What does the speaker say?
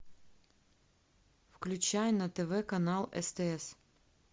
включай на тв канал стс